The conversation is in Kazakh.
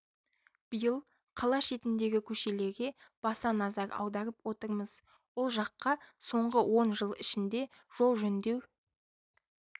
биыл қала шетіндегі көшелерге баса назар аударып отырмыз ол жаққа соңғы он жыл ішінде жол жөндеу